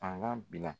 Fanga bila